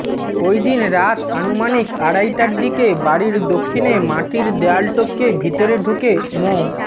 ওইদিন রাত আনুমানিক আড়াইটার দিকে বাড়ির দক্ষিণে মাটির দেয়াল টপকে ভেতরে ঢুকে মো